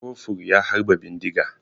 Kofur ya harba bindiga.